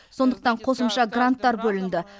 сондықтан қосымша гранттар бөлінді